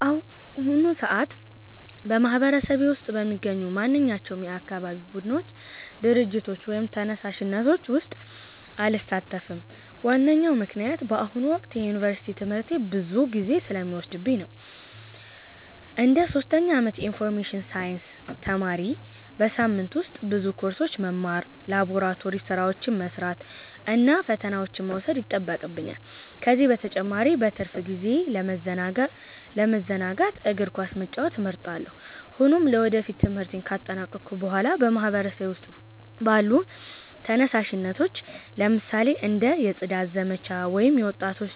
በአሁኑ ሰዓት በማህበረሰቤ ውስጥ በሚገኙ ማንኛቸውም የአካባቢ ቡድኖች፣ ድርጅቶች ወይም ተነሳሽነቶች ውስጥ አልሳተፍም። ዋነኛው ምክንያት በአሁኑ ወቅት የዩኒቨርሲቲ ትምህርቴ ብዙ ጊዜ ስለሚወስድብኝ ነው። እንደ ሶስተኛ ዓመት የኢንፎርሜሽን ሳይንስ ተማሪ፣ በሳምንቱ ውስጥ ብዙ ኮርሶችን መማር፣ ላቦራቶሪ ሥራዎችን መስራት እና ፈተናዎችን መውሰድ ይጠበቅብኛል። ከዚህ በተጨማሪ በትርፍ ጊዜዬ ለመዘናጋት እግር ኳስ መጫወት እመርጣለሁ። ሆኖም ለወደፊቱ ትምህርቴን ካጠናቀቅሁ በኋላ በማህበረሰቤ ውስጥ ባሉ ተነሳሽነቶች፣ ለምሳሌ እንደ የጽዳት ዘመቻ ወይም የወጣቶች